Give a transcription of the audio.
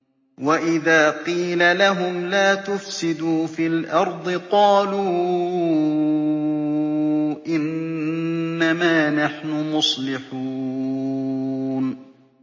وَإِذَا قِيلَ لَهُمْ لَا تُفْسِدُوا فِي الْأَرْضِ قَالُوا إِنَّمَا نَحْنُ مُصْلِحُونَ